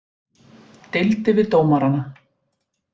Deildi við dómarana